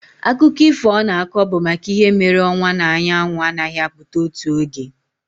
Akụkọ ifo ọ na-akọ bụ maka ihe mere ọnwa na anyanwụ anaghị apụta otu oge.